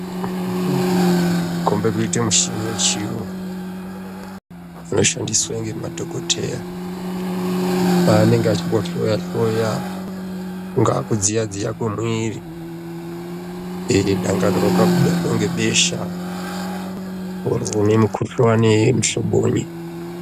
Kukomb kuita mushini wechiyungu dangani inoshandiswa nema madhokodheya panenge achihloya hloya kungava kudziya dziya muviri dangani wakabatwa nebesha wozwi mukhuhlani muhlobonyi